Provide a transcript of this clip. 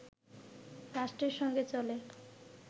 রাষ্ট্রের সঙ্গে চলে